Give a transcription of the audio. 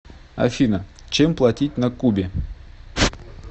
афина чем платить на кубе